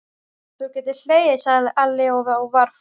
Þú getur hlegið, sagði Alli og var fúll.